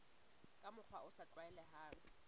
ka mokgwa o sa tlwaelehang